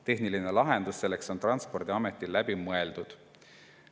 Tehniline lahendus selleks on Transpordiametil läbi mõeldud.